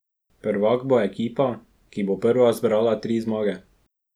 Prvak bo ekipa, ki bo prva zbrala tri zmage.